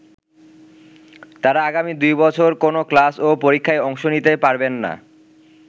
তারা আগামী দুই বছর কোনো ক্লাস ও পরীক্ষায় অংশ নিতে পারবেন না।